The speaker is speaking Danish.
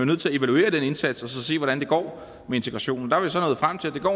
nødt til at evaluere den indsats og se hvordan det går med integrationen